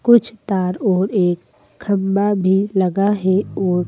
कुछ तार और एक खंबा भी लगा है और--